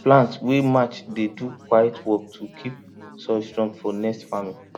plant wey match dey do quiet work to keep soil strong for next farming